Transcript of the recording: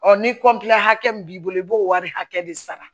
ni hakɛ min b'i bolo i b'o wari hakɛ de sara